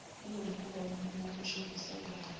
linomkhuba wokumshovisa ubala